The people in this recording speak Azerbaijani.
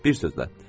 Bir sözlə.